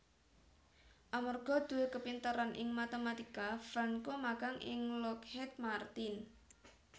Amarga duwé kapinteran ing matematika Franco magang ing Lockheed Martin